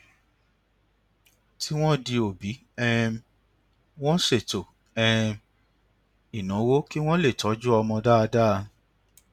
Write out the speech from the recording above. tí wón di òbí um wọn ṣètò um ináwó kí wón lè tójú ọmọ dáadáa